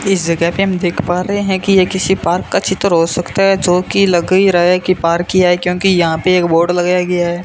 इस जगह पे हम देख पा रहे हैं कि ये किसी पार्क का चित्र हो सकता है जो की लग ही रहा है कि पार्क ही है क्योंकि यहां पे एक बोर्ड लगाया गया।